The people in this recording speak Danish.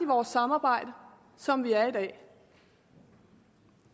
vores samarbejde som vi er i dag